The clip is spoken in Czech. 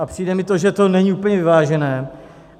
A přijde mi to, že to není úplně vyvážené.